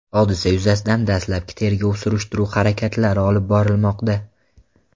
Hodisa yuzasidan dastlabki tergov-surishtiruv harakatlari olib borilmoqda.